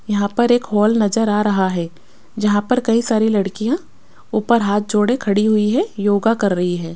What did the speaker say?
यहां पर एक हॉल नजर आ रहा है जहां पर कई सारी लड़कियां ऊपर हाथ जोड़े खड़ी हुईं हैं योगा कर रही हैं।